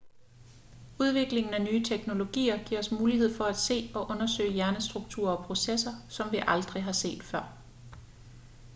udviklingen af nye teknologier giver os mulighed for at se og undersøge hjernestrukturer og processer som vi aldrig har set før